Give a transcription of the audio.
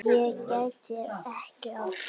Ég græt ekki oft.